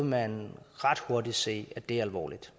man ret hurtigt se at det er alvorligt